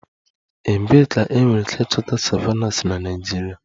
Ebee ka enwere ike ịchọta savannahs na Naịjirịa?